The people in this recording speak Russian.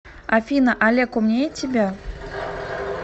афина олег умнее тебя